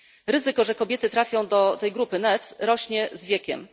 Ryzyko, że kobiety trafią do grupy NEET, rośnie z wiekiem.